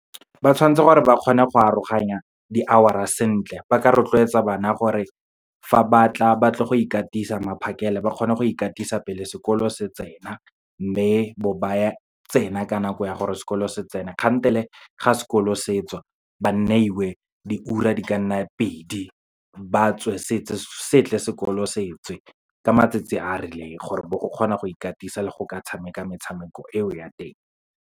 Ba tshwantse gore ba kgone go aroganya di-hour-a sentle, ba ka rotloetsa bana gore fa ba tla, ba tle go ikatisa maphakela, ba kgone go ikatisa pele sekolo se tsena. Mme bo ba tsena ka nako ya gore sekolo se tsene, kgantele ga sekolo se tswa ba neiwe diura di ka nna pedi, ba tswe setse sekolo se tswe, ka matsatsi a rileng, gore bo go kgona go ikatisa, le go ka tshameka metshameko eo ya teng.